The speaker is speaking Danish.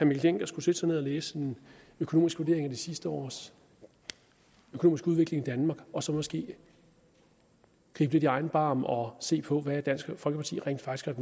mikkel dencker skulle sætte sig ned og læse en økonomisk vurdering af de sidste års økonomiske udvikling i danmark og så måske gribe lidt i egen barm og se på hvad dansk folkeparti rent faktisk